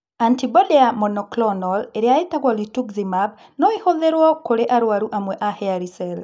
Antibody ya monoclonal ĩrĩa ĩtagwo rituximab no ĩhũthĩrwe kũrĩ arũaru amwe a hairy cell.